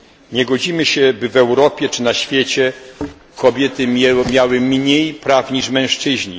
Nie godzimy się na to, aby w Europie i na świecie kobiety miały mniej praw niż mężczyźni.